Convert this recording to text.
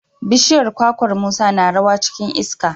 bishiyar kwakwar Musa na rawa cikin iska.